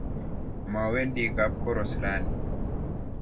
Mowendi kapkoros raini.